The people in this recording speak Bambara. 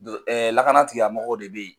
Do lakana tigiya mɔgɔw de bɛ ye.